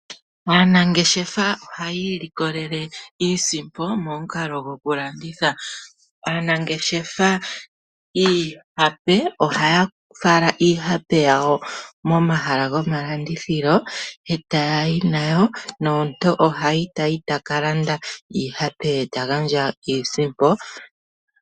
Aanangeshefa ohaya ilikolele iisimpo momukalo gokulanditha. Aanangeshefa ohaya fala iihape yawo momahala gomalandithilo e taya yi nayo, nomuntu ohayi ta ka landa iihape ye ta gandja iisimpo.